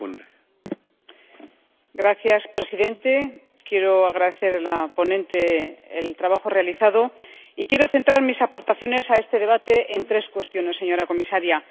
Señor presidente, quiero agradecer a la ponente el trabajo realizado y quiero centrar mis aportaciones a este debate en tres cuestiones, señora comisaria.